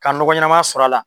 Ka ɲɔgɔ ɲɛnaman sɔrɔ a la.